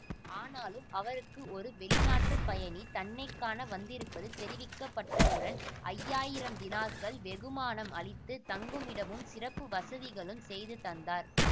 ஆனாலும் அவருக்கு ஒரு வெளிநாட்டுப் பயணி தன்னை காண வந்திருப்பது தெரிவிக்கப்பட்டவுடன் ஐயாயிரம் தினார்கள் வெகுமானம் அளித்து தங்குமிடமும் சிறப்பு வசதிகளும் செய்து தந்தார்